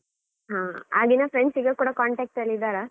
ಹಾ, ಆಗಿನ friends ಈಗ ಕೂಡ contact ಅಲ್ಲಿ ಇದ್ದಾರಾ?